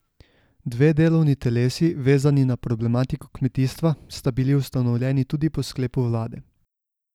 Dve delovni telesi, vezani na problematiko kmetijstva, sta bili ustanovljeni tudi po sklepu vlade.